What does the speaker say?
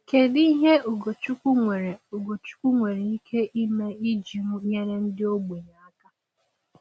Kedu ihe Ugochukwu nwere Ugochukwu nwere ike ime iji nyere ndị ogbenye aka?